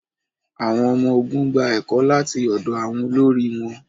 àwọn ọmọ-ogun gba ẹkọ lati ọdọ àwọn olori wọn